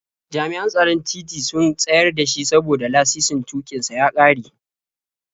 Jami'an tsaron titi sun tsayar da shi saboda lasisin tuƙin sa ya ƙare.